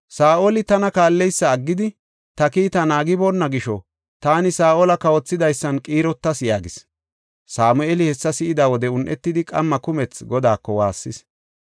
“Saa7oli tana kaalleysa aggidi, ta kiita naagiboonna gisho, taani Saa7ola kawothidaysan qiirotas” yaagis. Sameeli hessa si7ida wode un7etidi qamma kumethi Godaako waassis.